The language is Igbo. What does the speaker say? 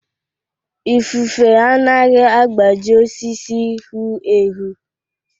Ifufe anaghị agbaji osisi hu ehu.